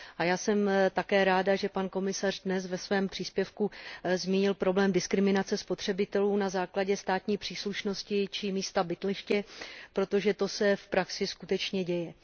A já jsem také ráda, že pan komisař dnes ve svém příspěvku zmínil problém diskriminace spotřebitelů na základě státní příslušnosti či místa bydliště, protože to se v praxi skutečně děje.